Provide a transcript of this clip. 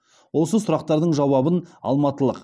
осы сұрақтардың жауабын алматылық